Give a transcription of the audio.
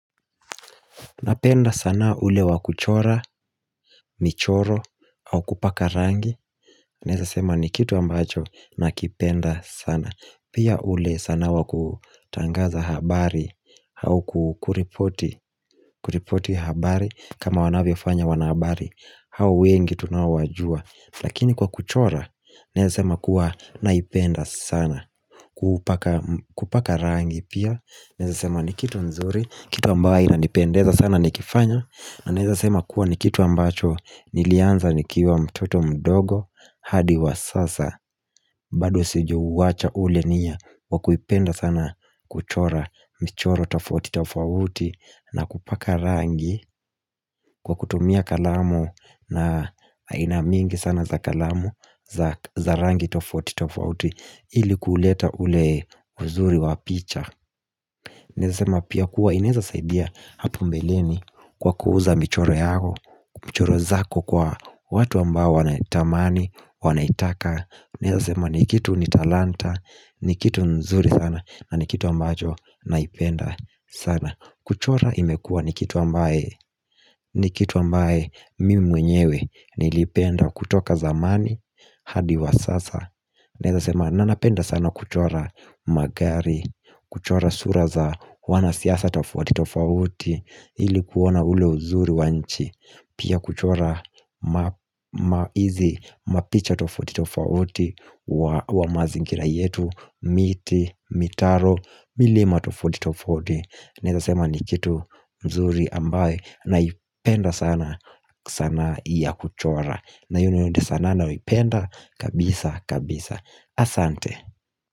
Napenda sanaa ule wa kuchora, michoro, au kupaka rangi Naweza sema ni kitu ambacho nakipenda sana Pia ule sanaa wa kutangaza habari au kuripoti habari kama wanavyo fanya wanahabari hao wengi tunaowajua Lakini kwa kuchora Naweza sema kuwa naipenda sana kupaka rangi pia Naweza sema ni kitu nzuri Kitu ambayo inanipendeza sana nikifanya na naweza sema kuwa ni kitu ambacho nilianza nikiwa mtoto mdogo hadi wa sasa bado sijauacha ule nia wa kuipenda sana kuchora michoro tofauti tofauti na kupaka rangi kwa kutumia kalamu na aina mingi sana za kalamu za rangi tofauti tofauti ili kuleta ule uzuri wa picha Naweza sema pia kuwa inaweza saidia hapo mbeleni kwa kuuza michoro yako, michoro zako kwa watu ambao wanaitamani, wanaitaka Naweza sema ni kitu ni talanta, ni kitu nzuri sana, na ni kitu ambacho naipenda sana kuchora imekua ni kitu ambaye, ni kitu ambaye mimi mwenyewe nilipenda kutoka zamani hadi wa sasa Naweza sema na napenda sana kuchora magari kuchora sura za wanasiasa tofauti tofauti ili kuona ule uzuri wa nchi Pia kuchora ma hizi mapicha tofauti tofauti wa mazingira yetu miti, mitaro, milima tofauti tofauti Naweza sema ni kitu nzuri ambaye Naipenda sana sanaa ya kuchora na hiyo ndio sanaa nayoipenda kabisa kabisa Asante.